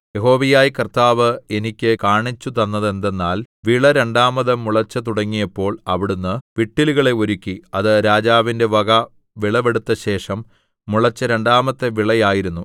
യഹോവയായ കർത്താവ് എനിക്ക് കാണിച്ചുതന്നതെന്തെന്നാൽ വിള രണ്ടാമത് മുളച്ചു തുടങ്ങിയപ്പോൾ അവിടുന്ന് വിട്ടിലുകളെ ഒരുക്കി അത് രാജാവിന്റെ വക വിളവെടുത്തശേഷം മുളച്ച രണ്ടാമത്തെ വിള ആയിരുന്നു